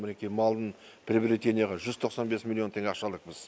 мінекей малдың приобретениеға жүз тоқсан бес миллион теңге ақша алдық біз